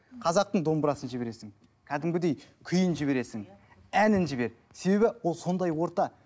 қазақтың домбырасын жібересің кәдімгідей күйін жібересің әнін жібер себебі ол сондай орта